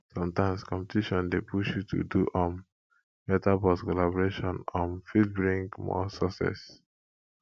sometimes competition dey push you to do um better but collaboration um fit bring more success